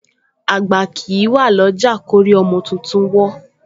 Àgbà kìí wà ọlọ́jà lórí ọmọ tuntun wó